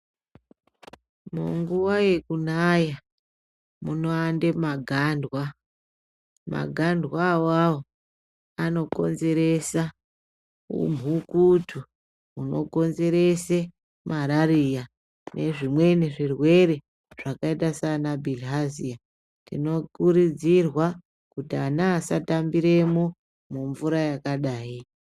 Munguwa yekunaya kuno wanda magandwa magandwa ona awawo ano konzeresa humhukutu huno konzerese malaria nezvimweni zvirwere zvakaita seana bilihazia tino kurudzirwa kuti ana asata mbiremwo mumvura yakadai.